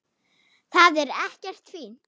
Það er ekkert fínt.